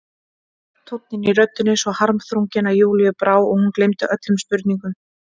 Tónninn í röddinni svo harmþrunginn að Júlíu brá og hún gleymdi öllum spurningum.